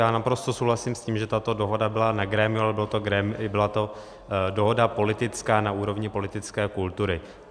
Já naprosto souhlasím s tím, že tato dohoda byla na grémiu, ale byla to dohoda politická na úrovni politické kultury.